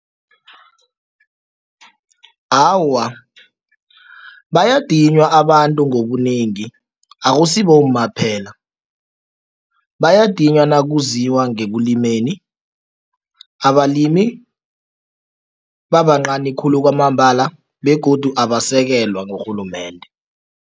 Awa, bayadinywa abantu ngobunengi akusi bomma kuphela. Bayadinywa nakuziwa ngekulimeni, abalimi babancani khulu kwamambala begodu abasekelwa ngurhulumende.